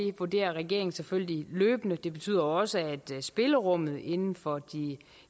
vurderer regeringen selvfølgelig løbende det betyder også at spillerummet inden for de